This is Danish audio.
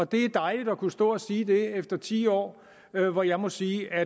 det er dejligt at kunne stå og sige det efter ti år hvor jeg må sige